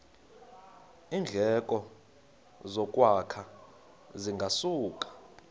iindleko zokwakha zingasuka